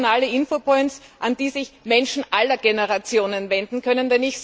Nationale Infopoints, an die sich Menschen aller Generationen wenden können.